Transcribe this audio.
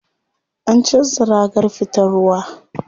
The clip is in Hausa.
An canza ragar fitar ruwa.